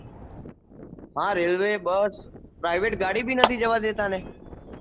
હા railway bus private ગાડી પણ નથી જવા દેતા ને